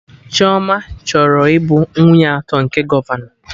Chioma chọrọ ịbụ nwunye atọ nke gọvanọ